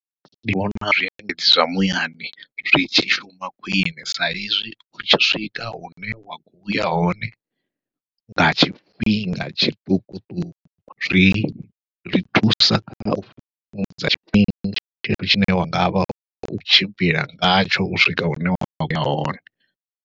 Ndi vhona zwiendedzi zwa muyani zwi tshi shuma khwiṋe sa ezwi utshi swika hune wa kho uya hone nga tshifhinga tshiṱukuṱuku, zwi ri thusa kha u fhungudza tshifhinga tshinzhi tshine wa ngavha u khou tshimbila ngatsho u swika hune wa khoya hone.